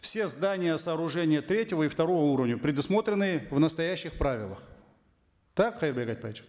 все здания сооружения третьего и второго уровня предусмотренные в настоящих правилах так кайырбек айтбаевич